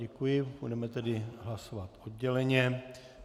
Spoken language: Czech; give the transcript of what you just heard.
Děkuji, budeme tedy hlasovat odděleně.